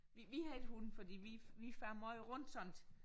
Vi vi har ikke hund fordi vi vi farer måj rundt sådan